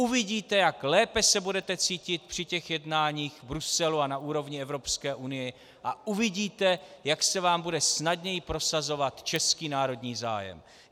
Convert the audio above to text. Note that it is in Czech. Uvidíte, jak lépe se budete cítit při těch jednáních v Bruselu a na úrovni Evropské unie, a uvidíte, jak se vám bude snadněji prosazovat český národní zájem.